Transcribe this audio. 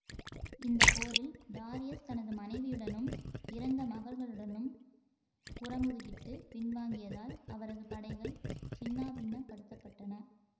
இந்த போரில் டாரியஸ் தனது மனைவியுடனும் இறந்து மகள்களுடனும் புறமுதுகிட்டு பின்வாங்கியதால் அவரது படைகள் சின்னாபின்னப்படுத்தபட்டன